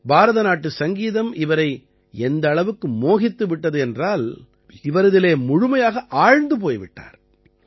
பாரத நாட்டு சங்கீதம் அவரை எந்த அளவுக்கு மோகித்து விட்டது என்றால் இவர் அதிலே முழுமையாக ஆழ்ந்து போய் விட்டார்